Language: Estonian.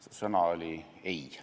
See sõna oli "ei".